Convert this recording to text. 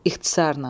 İxtisarla.